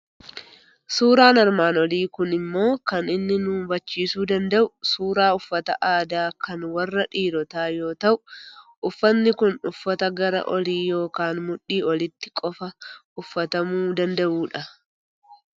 Suuraan armaan olii kun immo kan inni nu hubachiisuu danda'u suuraa uffata aadaa kan warra dhiirotaa yoo ta'u, uffatni kun uffata gara olii yookiin mudhii olitti qofaa ufatanuu danda'u dha.